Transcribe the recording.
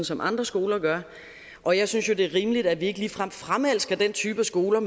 som andre skoler gør og jeg synes jo det er rimeligt at vi ikke ligefrem fremelsker den type af skoler